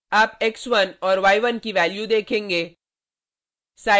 आप x1 और y1 की वैल्यू देखेगें